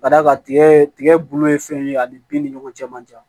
Ka d'a kan tigɛ tigɛ bolo ye fɛn ye ani bin ni ɲɔgɔn cɛ man jan